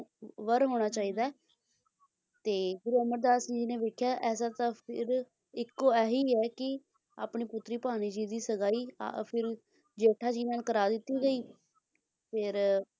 ਵਰ ਹੋਣਾ ਚਾਹੀਦਾ ਹੈ ਤੇ ਗੁਰੂ ਅਮਰਦਾਸ ਜੀ ਨੇ ਵੇਖਿਆ ਕੇ ਐਸਾ ਤਾਂ ਫਿਰ ਇੱਕੋ ਆਹੀ ਐ ਕੀ ਆਪਣੀ ਪੁੱਤਰ ਭਾਨੀ ਜੀ ਦੀ ਸਗਾਈ ਆ ਫਿਰ ਜੇਠਾ ਜੀ ਨਾਲ ਕਰਾ ਦਿੱਤੀ ਗਈ ਫਿਰ,